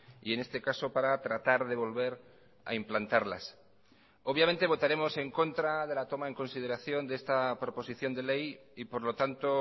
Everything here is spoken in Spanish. y en este caso para tratar de volver a implantarlas obviamente votaremos en contra de la toma en consideración de esta proposición de ley y por lo tanto